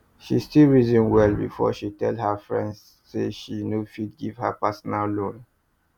she still reason well before she tell her friend say she no fit give her personal loan